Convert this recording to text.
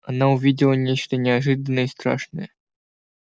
она увидела нечто неожиданное и страшное